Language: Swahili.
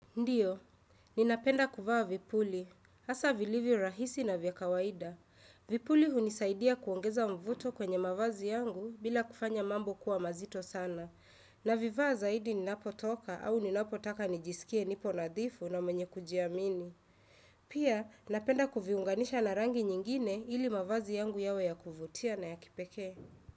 Ndiyo, ninapenda kuvaa vipuli, hasa vilivyo rahisi na vya kawaida. Vipuli hunisaidia kuongeza mvuto kwenye mavazi yangu bila kufanya mambo kuwa mazito sana. Navivaa zaidi ninapo toka au ninapo taka nijisikie nipo nadhifu na mwenye kujiamini. Pia, napenda kuviunganisha na rangi nyingine ili mavazi yangu yawe ya kuvutia na ya kipeke.